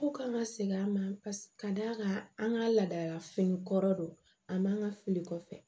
Ko kan ka seg'a ma ka d'a kan an ka laadalafini kɔrɔ don a man fili kɔfɛ